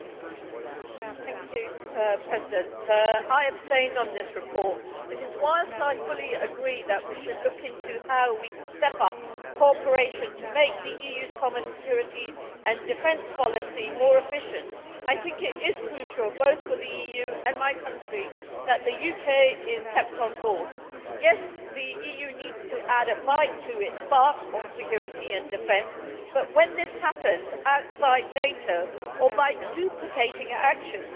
Madam President, I abstained on this report because whilst I fully agree that we should look into how we could step up cooperation to make the EU's common security and defence policy more efficient, I think it is crucial both for the EU and my country that the UK is kept on board. Yes, the EU needs to add a bite to its bark on security and defence, but when this happens outside NATO, or by duplicating actions